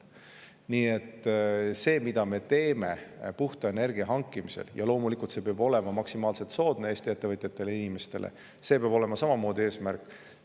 Nii et see, mida me teeme puhta energia hankimisel, peab loomulikult olema maksimaalselt soodne Eesti ettevõtjatele ja inimestele, see peab olema samamoodi eesmärk.